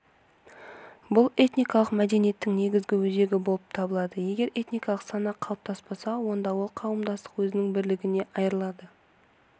бұл этникалық мәдениеттің негізгі өзегі болып табылады егер этникалық сана қалыптаспаса онда ол қауымдастық өзінің бірлігінен айырылады